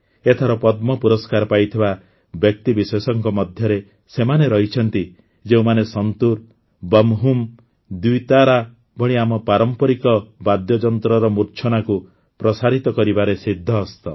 ଏଥର ପଦ୍ମ ପୁରସ୍କାର ପାଇଥିବା ବ୍ୟକ୍ତିବିଶେଷଙ୍କ ମଧ୍ୟରେ ସେମାନେ ରହିଛନ୍ତି ଯେଉଁମାନେ ସନ୍ତୁର୍ ବମହୁମ ଦ୍ୱିତାରା ଭଳି ଆମ ପାରମ୍ପରିକ ବାଦ୍ୟଯନ୍ତ୍ରର ମୂର୍ଚ୍ଛନାକୁ ପ୍ରସାରିତ କରିବାରେ ସିଦ୍ଧହସ୍ତ